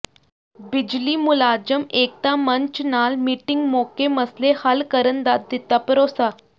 ਬਿਜਲੀ ਮੁਲਾਜ਼ਮ ਏਕਤਾ ਮੰਚ ਨਾਲ ਮੀਟਿੰਗ ਮੌਕੇ ਮਸਲੇ ਹੱਲ ਕਰਨ ਦਾ ਦਿੱਤਾ ਭਰੋਸਾ